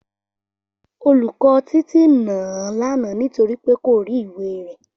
Olùkó Títí nà án lánàá nítorí pé kò rí ìwé rè